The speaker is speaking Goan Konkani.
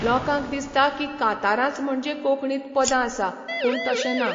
लोकांक दिसता की कांतारांच म्हणजे कोंकणींत पदां आसां, पूण तशें ना.